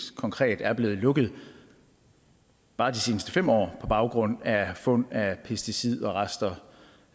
konkret er blevet lukket bare de seneste fem år på baggrund af fund af pesticidrester